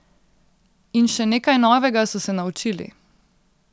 In še nekaj novega so se naučili.